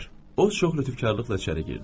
O çox lütfkarlıqla içəri girdi.